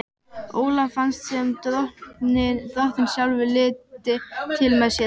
Ólafi fannst sem Drottinn sjálfur liti til með sér.